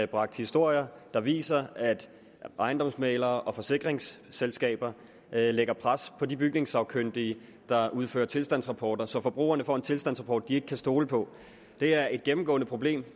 bragt historier der viser at ejendomsmæglere og forsikringsselskaber lægger pres på de bygningssagkyndige der udfører tilstandsrapporter så forbrugerne får en tilstandsrapport de ikke kan stole på det er et gennemgående problem